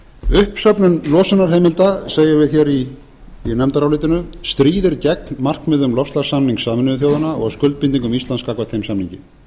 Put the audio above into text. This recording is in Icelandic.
uppsöfnun losunarheimilda segjum við hér í nefndarálitinu stríðir gegn markmiðum loftslagssamnings sameinuðu þjóðanna og skuldbindingum íslands gagnvart þeim samningi